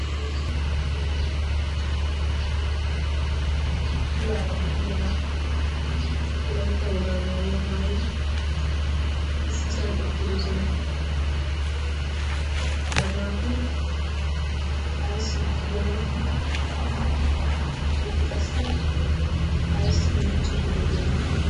keezzu yelaga maccanaati phuulaara de'iya wolaitta wogaa maayuwaa maayidi issisan uttidosona ha naati ayssi uttidona eti qassi ayssi miicciiddi de'iyoona